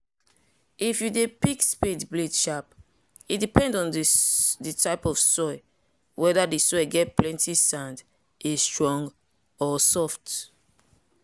if you dey pick spade blade shape e depend on the type of soil weather the soil get plenty sand e strong or soft.